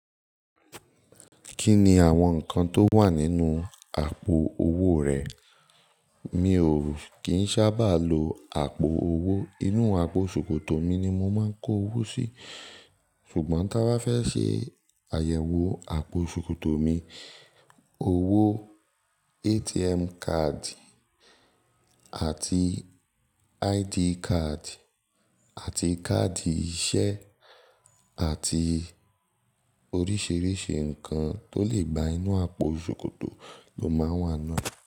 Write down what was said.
Kí ni àwọn nǹkan tó wà nínú àpò owó rẹ̀? Mi ò kín sábà lo àpò owó. Inú àpò ṣòkòtò mi ni mo máa ń kó owó sí. Ṣùgbọ́n tí a bá fẹ́ ṣe àyẹ̀wò àpò ṣòkòtò mi, owó, ATM card àti ID card àti káàdì ìṣe àti oríṣìíríṣìí ǹkan tó lè gba inú àpò ṣòkòtò ló máa wà náà.